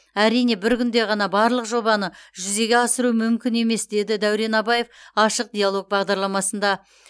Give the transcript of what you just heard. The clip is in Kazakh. әрине бір күнде ғана барлық жобаны жүзеге асыру мүмкін емес деді дәурен абаев ашық диалог бағдарламасында